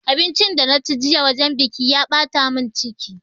Abincin da na ci jiya wajen biƙi ya ɓata mun ciki